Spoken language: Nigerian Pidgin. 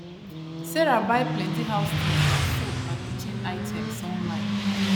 sarah buy plenty house things like soap and kitchen items online